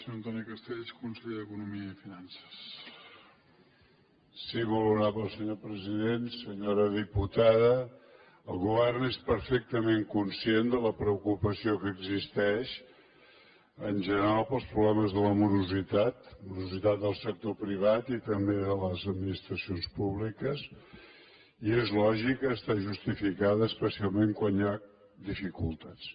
sí molt honorable senyor president senyora diputada el govern és perfectament conscient de la preocupació que existeix en general pels problemes de la morositat morositat del sector privat i també de les administracions públiques i és lògica està justificada especialment quan hi ha dificultats